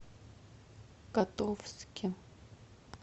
котовске